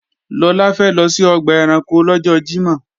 Lọlá fẹ́ lọ sí ọgbà ẹranko lọ́jọ́ Jímọ̀